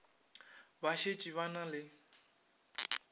ba šetše ba na le